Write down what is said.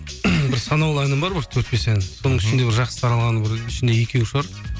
бір санаулы әнім бар бір төрт бес ән соның ішінде бір жақсы таралған ішінде екеуі шығар